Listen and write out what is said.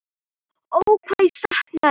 Ó hvað ég sakna þess.